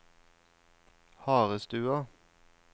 Harestua